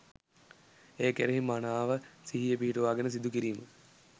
එය කෙරෙහි මනාව සිහිය පිහිටුවාගෙන සිදුකිරීම